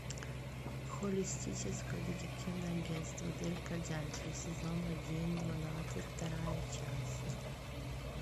холистическое детективное агентство дирка джентли сезон один двенадцать вторя часть